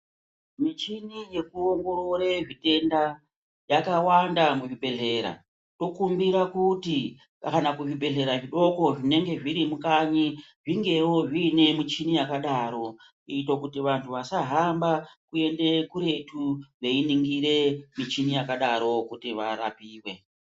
Michini yekuongorore zvitenda, yakawanda muzvibhedhlera. Tokumbira kuti kana kuzvibhedhlera zvidoko zvinenge zviri mukanyi zvingewo zviine michini yakadaro kuite kuti vantu wasahamba kuende kuretu weiningire michini yakadaro kuti warapiwe.